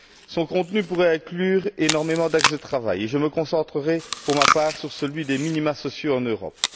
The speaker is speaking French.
Son contenu pourrait inclure énormément d'axes de travail, et je me concentrerai, pour ma part, sur celui des minima sociaux en Europe.